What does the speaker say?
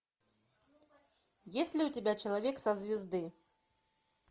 есть ли у тебя человек со звезды